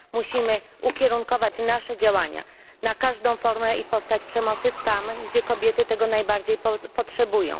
Musimy ukierunkować nasze działania na każdą formę i postać przemocy tam, gdzie kobiety tego najbardziej potrzebują.